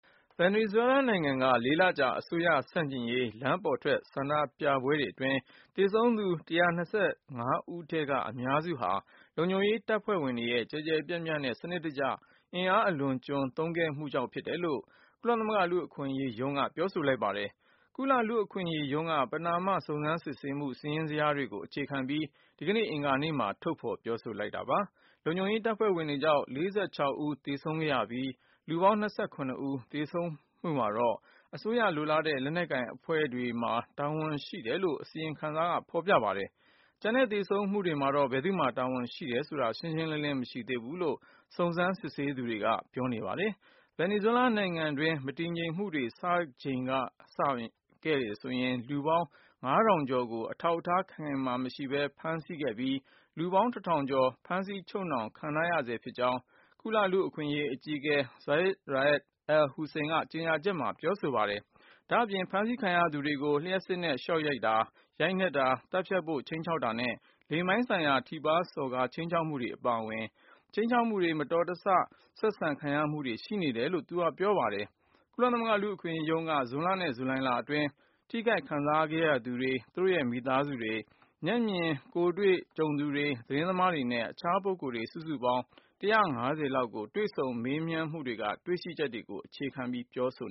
ဗင်နီဇွဲလားနိုင်ငံက ၄ လကြာ အစိုးရ ဆန့်ကျင်ရေး လမ်းပေါ်ထွက် ဆန္ဒပြမှုတွေ အတွင်း သေဆုံးသူ ၁၂၅ ဦးထဲက အများစုဟာဆိုရင် လုံခြုံရေး တပ်ဖွဲ့တွေရဲ့ ကျယ်ကျယ်ပြန့်ပြန့်နဲ့ စနစ်တကျ အင်အား အလွန်အကျွံ သုံးခဲ့မှုတွေကြောင့် ဖြစ်တယ်လို့ ကုလသမဂ္ဂ လူ့အခွင့်အရေးရုံးက ပြောဆိုလိုက်ပါတယ်။ ကုလလူ့အခွင့်အရေးရုံးက ပဏာမ စုံစမ်းစစ်ဆေးမှု စာရင်းဇယားတွေကို အခြေခံပြီး ဒီကနေ့ အင်္ဂါနေ့မှာ ထုတ်ဖော် ပြောဆိုလိုက်တာပါ။ လုံခြုံရေး တပ်ဖွဲ့ဝင်တွေကြောင့် ၄၆ ဦး သေဆုံးခဲ့ရပြီး လူပေါင်း ၂၇ ဦး သေဆုံးခဲ့ရမှုမှာတော့ အစိုးရ လိုလားတဲ့ လက်နက်ကိုင် အဖွဲ့တွေမှာ တာဝန်ရှိတယ်လို့ အစီရင်ခံစာမှာ ဖော်ပြပါတယ်။ ကျန်တဲ့ သေဆုံးမှုတွေမှာတော့ ဘယ်သူ့မှာ တာဝန်ရှိတယ်ဆိုတာ ရှင်းရှင်းလင်းလင်း မရှိသေးဘူးလို့ စုံစမ်းစစ်ဆေးသူတွေက ပြောပါတယ်။ ဗင်နီဇွဲလား နိုင်ငံတွင်း မတည်မငြိမ်မှုတွေ စခဲ့ချိန်ကတည်းကဆိုရင် လူပေါင်း ၅၀၀၀ ကျော်ကို အထောက်အထား ခိုင်ခိုင်မာမာ မရှိဘဲ ဖမ်းဆီးခဲ့ပြီး လူပေါင်း ၁၀၀၀ ကျော် ဖမ်းဆီး ချုပ်နှောင်ခံထားရဆဲ ဖြစ်ကြောင်း ကုလလူ့အခွင့်အရေး အကြီးအကဲ Zeid Ra’ad al-Hussein က ကြေညာချက်မှာ ပြောဆိုထားပါတယ်။ နောက် ဒီဖမ်းဆီးခံထားရသူတွေကို လျှပ်စစ်နဲ့ ရှော့တိုက်တာ၊ ရိုက်နှက်တာ၊ သတ်ပစ်ဖို့ ခြိမ်းခြောက်တာနဲ့ လိင်ပိုင်းဆိုင်ရာ ထိပါးစော်ကား ခြိမ်းခြောက်မှုတွေ အပါအဝင် ခြိမ်းခြောက်မှုတွေ၊ မတော်မလျော် ဆက်ဆံခံရမှုတွေ ရှိနေတယ်လို့လည်း သူက ပြောပါတယ်။ ကုလလူ့အခွင့်အရေးရုံးက ဇွန်လနဲ့ ဇူလိုင်လ အတွင်း ထိခိုက်ခံစားခဲ့ရသူတွေ၊ သူတို့ရဲ့ မိသားစုတွေ၊ မျက်မြင်တွေ့သူတွေ၊ သတင်းသမားတွေနဲ့ တခြားပုဂ္ဂိုလ်တွေ စုစုပေါင်း ၁၅၀ လောက်ကို တွေ့ဆုံမေးမြန်းမှုတွေက တွေ့ရှိချက်တွေကို အခြေခံ ပြောဆို